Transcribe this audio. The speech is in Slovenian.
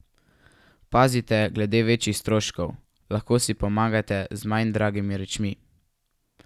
Pazite glede večjih stroškov, lahko si pomagate z manj dragimi rečmi.